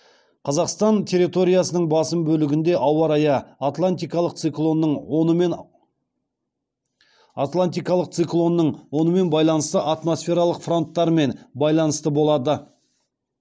қазақстан территориясының басым бөлігінде ауа райы атлантикалық циклонның онымен байланысты атмосфералық фронттармен байланысты болады